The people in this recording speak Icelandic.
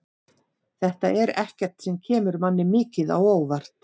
Þetta er ekkert sem kemur manni mikið á óvart.